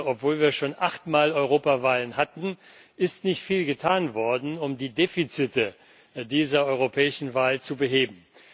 Obwohl wir schon achtmal Europawahlen hatten, ist nicht viel getan worden, um die Defizite dieser europäischen Wahl zu beheben.